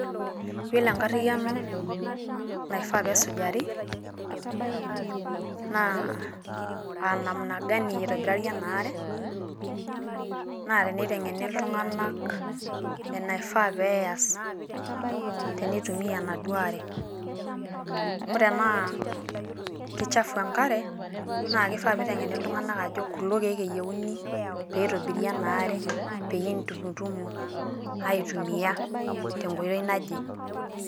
Yiolo enkariyiano naifaa peesujari naa aa namna gani eitobirari ena aare, naa teneiteng`eni iltung`anak enaifaa pee eas tenitumia enaduo are. Amu tenaa keichafu enkare naa kifaa pee iteng`eni iltung`anak ajo kulo kiek eyieuni pe eitobiri ena are. Peyie itumutumu aitumia tenkoitoi naje.